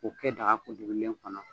K'o kɛ daga kuntugulen kɔnɔ.